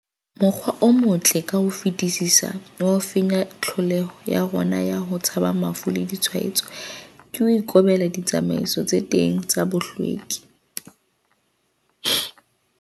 Mokgwa o motle ka ho fetisisa wa ho fenya tlholeho ya rona ya ho tshaba mafu le ditshwaetso, ke ho ikobela ditsamaiso tse teng tsa bohlweki.